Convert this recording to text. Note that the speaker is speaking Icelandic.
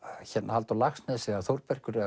Halldór Laxness eða Þórbergur eða